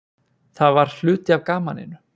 Það var hluti af gamninu.